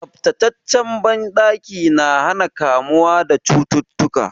Tsaftataccen banɗaki na hana kamuwa da cututtuka.